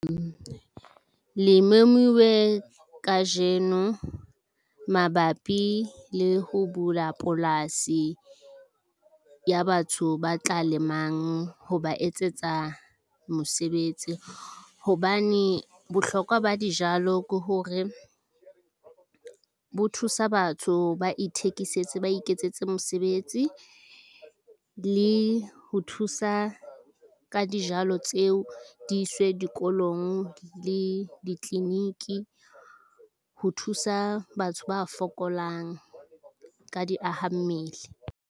Le memuwe kajeno mabapi le ho bula polasi ya batho ba tla lemang ho ba etsetsa mosebetsi hobane bohlokwa ba dijalo ke hore ho thusa batho ba ithekisetse, ba iketsetse mesebetsi le ho thusa ka dijalo tseo. Di iswe dikolong le di-clinic, ho thusa batho ba fokolang ka diaha mmele.